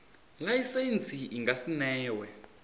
laisentsi i nga si newe